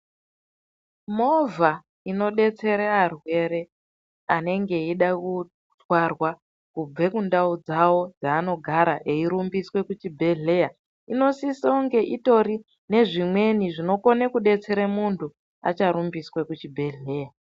Movha inobetsere varwere anenge eida kutwarwa kubve kundau dzavo dzaanogara eyirumbiswe kuchibhedhlera inosisonge itori nezvimweni zvinokone kubetsere muntu acharumbiswa kuchibhedhlera.